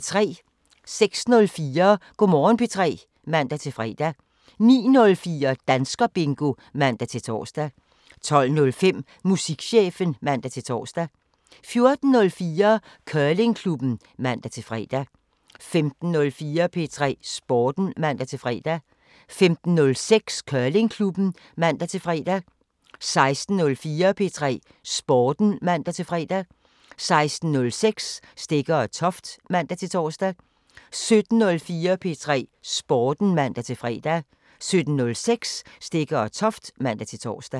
06:04: Go' Morgen P3 (man-fre) 09:04: Danskerbingo (man-tor) 12:05: Musikchefen (man-tor) 14:04: Curlingklubben (man-fre) 15:04: P3 Sporten (man-fre) 15:06: Curlingklubben (man-fre) 16:04: P3 Sporten (man-fre) 16:06: Stegger & Toft (man-tor) 17:04: P3 Sporten (man-fre) 17:06: Stegger & Toft (man-tor)